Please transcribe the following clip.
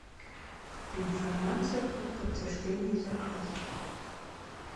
информация о подтверждении заказа